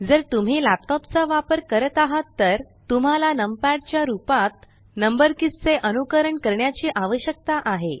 जर तुम्ही लॅपटॉप चा वापर करत आहात तर तुम्हाला नम पॅड च्या रूपात नंबर कीज़ चे अनुकरण करण्याची आवश्यकता आहे